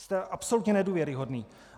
Jste absolutně nedůvěryhodný!